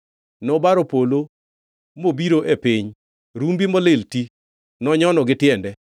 Nobaro polo mobiro e piny; rumbi molil ti nonyono gi tiende.